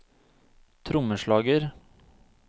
trommeslager